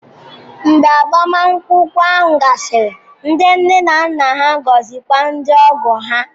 Mgbe agbamakwụkwọ ahụ gasịrị, ndị nne na nna ga-agọzikwa ndị ogo ha